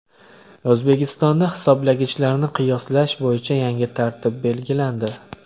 O‘zbekistonda hisoblagichlarni qiyoslash bo‘yicha yangi tartib belgilandi.